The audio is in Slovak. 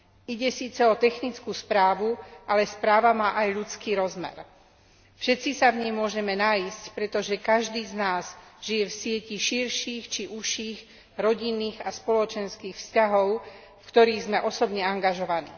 Ide síce o technickú správu, ale správa má aj ľudský rozmer. Všetci sa v nej môžeme nájsť, pretože každý z nás žije v sieti širších či užších rodinných a spoločenských vzťahov, v ktorých sme osobne angažovaní.